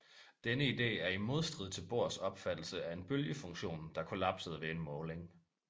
Denne ide er i modstrid til Bohrs opfattelse af en bølgefunktion der kollapsede ved en måling